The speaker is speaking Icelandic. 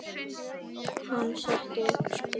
Hann setti upp skeifu.